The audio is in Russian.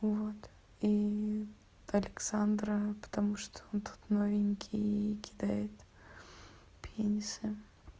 вот и александра потому что он тут новенький кидает пенисы